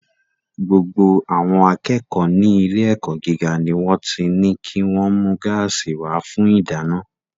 Gbogbo àwọn akẹ́kọ̀ọ́ ní ilé-ẹ̀kọ́ gíga ni wọ́n ti ní kí wọ́n mú gáàsì wá fún ìdáná.